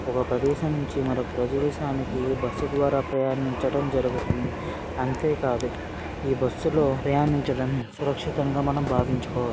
ఒక ప్రదేశం నుంచి మరో ప్రదేశానికి బస్సు ద్వారా ప్రయాణించడం జరుగుతుంది అంతే కాదు బస్సులో ప్రయాణించడం సురక్షితంగా మనం భావించుకోవ--